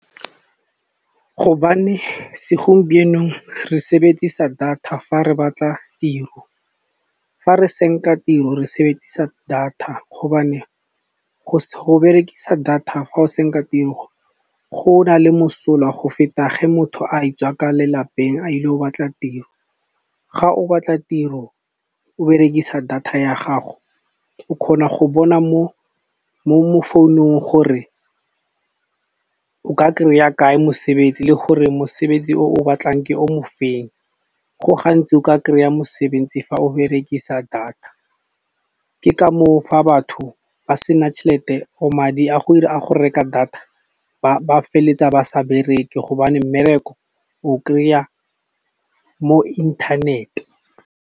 Hobane segompienong re sebedisa data fa re batla tiro, fa re senka tiro re sebedisa data hobane go berekisa data fa o senka tiro go na le mosola go feta ge motho a tswa ka lelapeng a ile go batla tiro. Ga o batla tiro o berekisa data ya gago o kgona go bona mo, mo founung gore o ka kry-a kae mosebetsi le gore mosebetsi o o batlang ke o mofeng. Go gantsi o ka kry-a mosebetsi fa o berekisa data, ke ka moo fa batho ba sena tšhelete or madi a go ira a go reka data ba ba feletsa ba sa bereke hobane mmereko o kry-a mo inthanete.